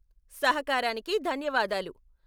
సహకారానికి ధన్యవాదాలు.